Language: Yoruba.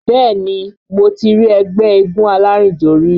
Bẹ́ẹ̀ni mo ti rí ẹgbẹ́ eégún alárìnjó rí